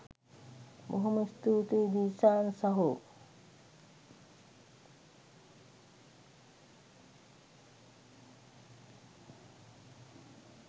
බොහොම ස්තූතියි දිල්ෂාන් සහෝ